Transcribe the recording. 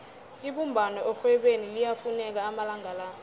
ibumbano erhwebeni liyafuneka amalanga la